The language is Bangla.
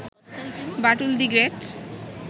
Batul the great